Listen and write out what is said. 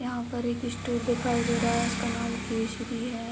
यहाँ पर एक स्टोर दिखाई दे रहा है जिसका नाम केशरी है।